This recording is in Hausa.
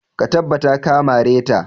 Ka tabbata ka mare ta!